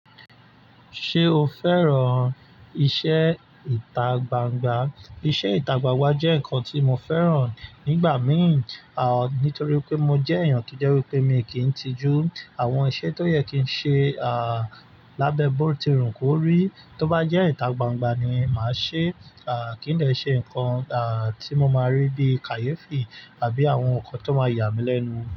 Ṣé o fẹ́ràn iṣẹ́ ìta gbangba? Iṣẹ́ ìta gbangba jẹ́ nǹkan tí mo fẹ́ràn nígbà mìí, à nítorí pé mo jẹ́ èèyàn to jẹ́ wípé mi kì í n tijú àwọn iṣẹ́ tó yẹ kí ń ṣe, à lábẹ́ bó ti rùn kórí. Tó bá jẹ́ ìta gbangba ni màá ṣe, à kí n dẹ ṣe ǹkan, à tí mo máa rí bí kàyéfì àbí àwọn nǹkan tó máa yà mí lẹ́nu.